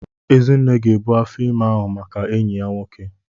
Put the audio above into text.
Ezinne ga ebu afọ ime ahụ maka enyi ya nwoke.